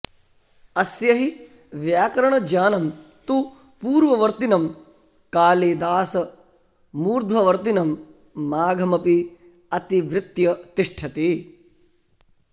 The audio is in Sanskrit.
अस्य हि व्याकरणज्ञानं तु पूर्ववर्तिनं कालिदासमूर्ध्ववर्तिनं माघमपि अतिवृत्य तिष्ठति